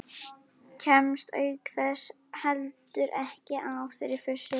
Kemst auk þess heldur ekki að fyrir fussi